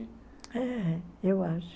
É, eu acho.